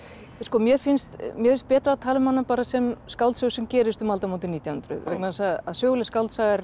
mér finnst mér finnst betra að tala um hana sem skáldsögu sem gerist um aldamótin nítján hundruð vegna þess að söguleg skáldsaga er